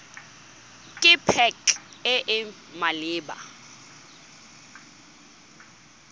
ke pac e e maleba